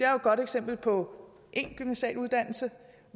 godt eksempel på en gymnasial uddannelse